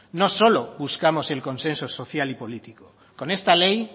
no solo buscamos el consenso social y político con esta ley